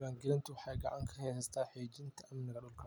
Diiwaangelintu waxay gacan ka geysataa xaqiijinta amniga dhulka.